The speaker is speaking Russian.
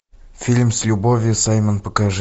фильм с любовью саймон покажи